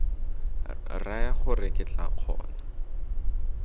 raya gore ke tla kgona